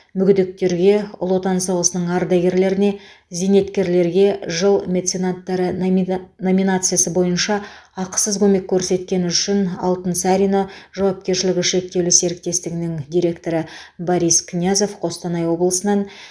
мүгедектерге ұлы отан соғысының ардагерлеріне зейнеткерлерге жыл меценаттары номина номинациясы бойынша ақысыз көмек көрсеткені үшін алтынсарино жауапкершілігі шектеулі серіктестігінің директоры борис князев қостанай облысынан